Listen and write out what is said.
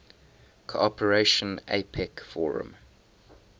cooperation apec forum